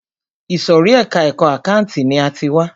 Ìsòrí ẹka ẹ̀kọ́ àkáǹtì ni a ti wá.